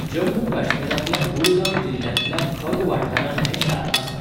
जम्मू काश्मीरांतल्या बुडगाम जिल्ल्यांतल्या खग वाठारांत हें शार आसा.